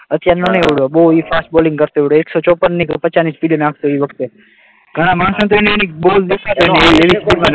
અત્યારનો નહીં, ઓલો બહુ હિટ બહુ ફાસ્ટ બોલિંગ કરતો હતો, એકસો ચોપન કે પચાસની સ્પીડે નાખતો એ વખતે, ઘણા માણસોને તો